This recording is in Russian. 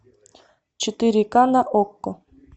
четыре ка на окко